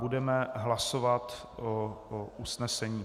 Budeme hlasovat o usnesení.